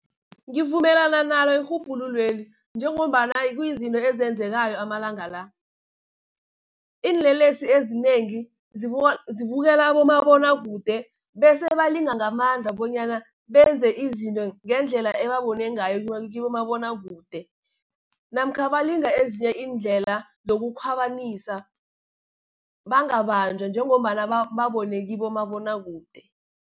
Ngivumelana nalo erhubhululweli, njengombana kuyizinto ezenzekako amalanga la. Iinlelesi ezinengi zibukela abomabonakude, bese balinga ngamandla bonyana benze izinto ngendlela ebabone ngayo kibomabonakude, namkha balinga ezinye iindlela zokukhwabanisa, bangabanjwa njengombana babone kibomabonakude.